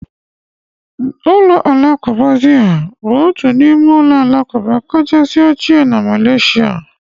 Ụlọ alakụba Zahir bụ otu n'ime ụlọ alakụba kacha ochie na Malaysia.